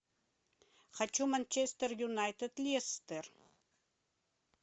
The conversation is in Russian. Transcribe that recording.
хочу манчестер юнайтед лестер